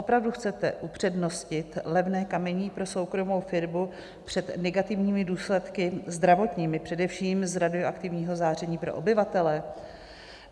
Opravdu chcete upřednostnit levné kamení pro soukromou firmu před negativními důsledky zdravotními, především z radioaktivního záření pro obyvatele?